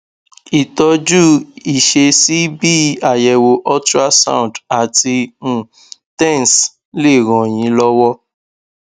ìtọjú ìṣesí bí àyẹwò ultrasound àti um tens lè ràn yín lọwọ